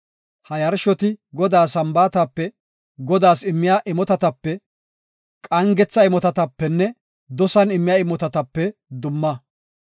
Ha yarshoti Godaa Sambaatatape, Godaas immiya imotatape, qangetha imotatapenne dosan immiya imotatape dumma.